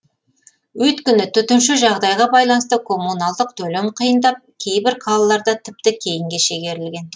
өйткені төтенше жағдайға байланысты коммуналдық төлем қиындап кейбір қалаларда тіпті кейінге шегерілген